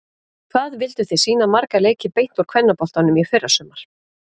Hvað vilduð þið sýna marga leiki beint úr kvennaboltanum í fyrrasumar?